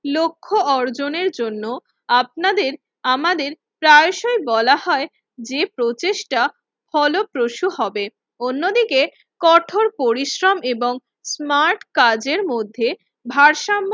লক্ষ্য অর্জনের জন্য আপনাদের আমাদের প্রায়সই বলা হয় যে প্রচেষ্টা হলপ্রশু হবে। অন্যদিকে কঠোর পরিশ্রম এবং স্মার্ট কাজের মধ্যে ভারসাম্য